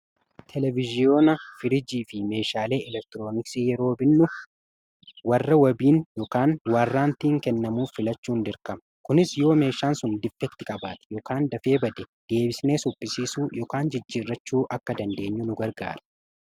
Televiziyoona, firiijii fi meeshaalee elektiroonisiin faayidaa madaalamuu hin dandeenye fi bakka bu’iinsa hin qabne qaba. Jireenya guyyaa guyyaa keessatti ta’ee, karoora yeroo dheeraa milkeessuu keessatti gahee olaanaa taphata. Faayidaan isaa kallattii tokko qofaan osoo hin taane, karaalee garaa garaatiin ibsamuu danda'a.